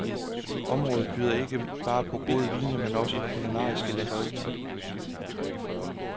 Området byder ikke bare på gode vine, men også på kulinariske lækkerier.